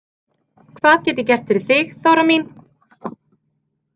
Hvað get ég gert fyrir þig, Þóra mín?